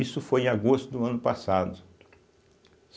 Isso foi em agosto do ano passado.